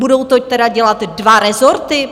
Budou to teda dělat dva rezorty?